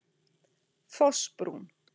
Fossbrún